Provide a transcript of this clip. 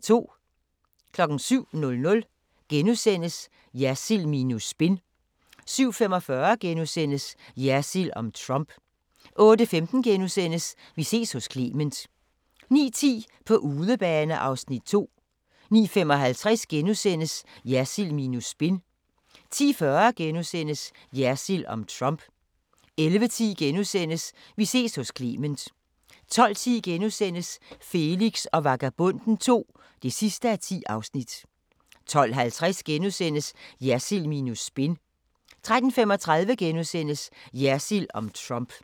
07:00: Jersild minus spin * 07:45: Jersild om Trump * 08:15: Vi ses hos Clement * 09:10: På udebane (Afs. 2) 09:55: Jersild minus spin * 10:40: Jersild om Trump * 11:10: Vi ses hos Clement * 12:10: Felix og Vagabonden II (10:10)* 12:50: Jersild minus spin * 13:35: Jersild om Trump *